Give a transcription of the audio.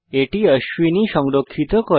এটি অশ্বিনী সংরক্ষিত করে